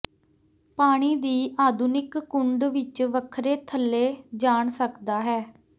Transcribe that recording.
ਪਾਣੀ ਦੀ ਆਧੁਨਿਕ ਕੁੰਡ ਵਿੱਚ ਵੱਖਰੇ ਥੱਲੇ ਜਾਣ ਸਕਦਾ ਹੈ